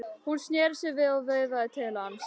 Hún sneri sér við og veifaði til hans.